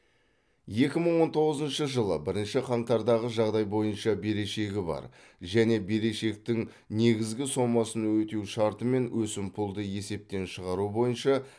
екі мың он тоғызыншы жылы бірінші қаңтардағы жағдай бойынша берешегі бар және берешектің негізгі сомасын өтеу шартымен өсімпұлды есептен шығару бойынша